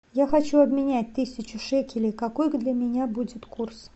я хочу обменять тысячу шекелей какой для меня будет курс